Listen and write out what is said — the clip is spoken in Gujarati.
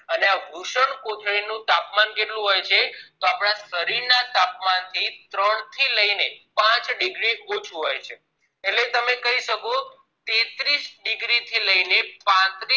અને આ વૃષ્ણકોથળી નું તાપમાન કેટલું હોય છે તો આપના શરીર ના તાપમાન થી ત્રણ થી લઈને પાંચ degree ઓછુ હોય છે એટલે તમે કહી શકો કે ત્રીસ degree થી લઈને પાંત્રીશ